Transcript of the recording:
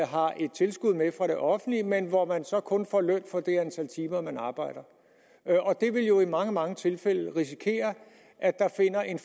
tilskud med fra det offentlige men hvor man så kun får løn for det antal timer man arbejder og i mange mange tilfælde vil man risikere at der finder en